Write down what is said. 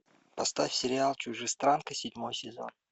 поставь сериал чужестранка седьмой сезон